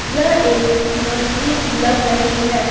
यह एक म-ज़िद लग रही है।